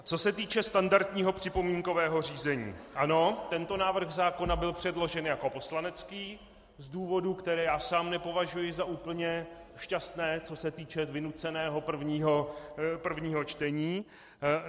Co se týče standardního připomínkového řízení, ano, tento návrh zákona byl předložen jako poslanecký z důvodů, které já sám nepovažuji za úplně šťastné, co se týče vynuceného prvního čtení.